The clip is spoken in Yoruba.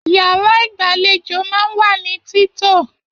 Yàrá igbalejo máa n wa ni tito.